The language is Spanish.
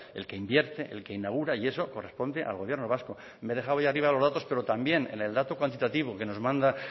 el que invierte el que inaugura y eso corresponde al gobierno vasco me he dejado ahí arriba los datos pero también en el dato cuantitativo que nos manda